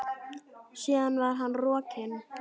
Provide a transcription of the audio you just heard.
Síðan var hann rokinn.